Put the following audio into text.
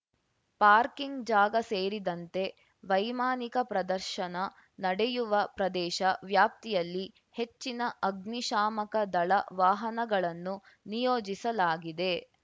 parking ಜಾಗ ಸೇರಿದಂತೆ ವೈಮಾನಿಕ ಪ್ರದರ್ಶನ ನಡೆಯುವ ಪ್ರದೇಶ ವ್ಯಾಪ್ತಿಯಲ್ಲಿ ಹೆಚ್ಚಿನ ಅಗ್ನಿಶಾಮಕ ದಳ ವಾಹನಗಳನ್ನು ನಿಯೋಜಿಸಲಾಗಿದೆ